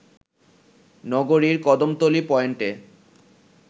নগরীর কদমতলী পয়েন্টে